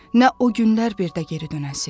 Nə o günlər bir də geri dönəsə.